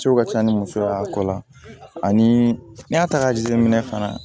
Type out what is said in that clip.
Ciw ka ca ni musoya ko la ani y'a ta k'a jateminɛ fana